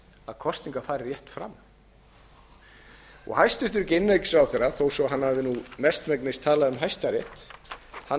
að kosningar fari rétt fram hæstvirtur innanríkisráðherra þó að hann hafi mestmegnis talað um hæstarétt las